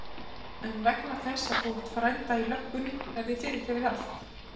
En vegna þess að þú átt frænda í löggunni er þér fyrirgefið allt.